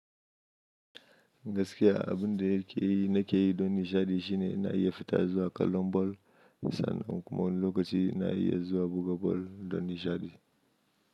Gaskiya abin da yake yi na ke yi don nishaɗi shine na yi fita zuwa kallon bal, misali in kuma lokaci na yi zuwa buga bal don nishaɗi.